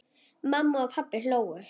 Mamma og pabbi hlógu.